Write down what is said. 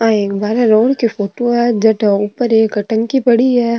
आ एक बार रोड की फोटो है जठ ऊपर एक टंकी पड़ी है।